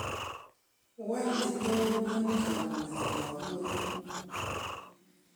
Wany tindoi mioni kamuket koam ngwony ?